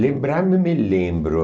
Lembrar-me, me lembro.